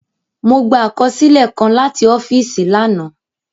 Mọ gbà àkọsílẹ kàn làti ọ́fíìsì lànà.